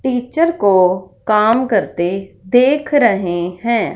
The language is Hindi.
टीचर को काम करते देख रहे हैं।